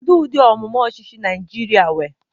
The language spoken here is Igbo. Kedu ụdị amụma ọchịchị Naịjirịa nwere?